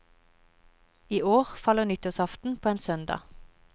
I år faller nyttårsaften på en søndag.